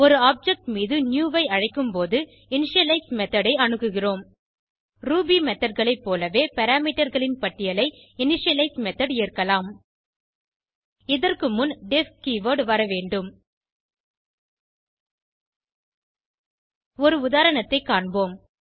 ஒரு ஆப்ஜெக்ட் மீது நியூ ஐ அழைக்கும்போது இனிஷியலைஸ் மெத்தோட் ஐ அணுகுகிறோம் ரூபி methodகளை போலவே பாராமீட்டர் களின் பட்டியலை இனிஷியலைஸ் மெத்தோட் ஏற்கலாம் இதற்கு முன் டெஃப் கீவர்ட் வரவேண்டும் ஒரு உதாரணத்தை காண்போம்